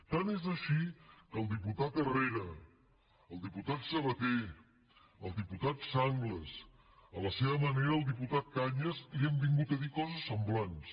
tant és així que el diputat herrera el diputat sabaté el diputat sanglas a la seva manera el diputat cañas li han vingut a dir coses semblants